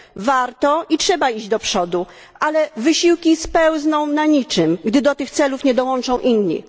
Warto i trzeba iść do przodu, ale wysiłki spełzną na niczym, gdy do tych celów nie dołączą inni.